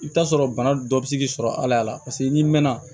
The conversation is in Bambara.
I bɛ t'a sɔrɔ bana dɔ bɛ se k'i sɔrɔ ala paseke n'i mɛnna